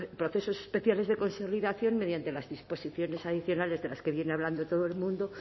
procesos especiales de consolidación mediante las disposiciones adicionales de las que viene hablando de todo el mundo